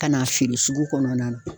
Ka n'a feere sugu kɔnɔna na